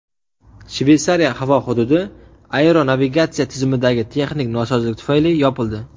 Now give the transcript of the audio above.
Shveysariya havo hududi aeronavigatsiya tizimidagi texnik nosozlik tufayli yopildi.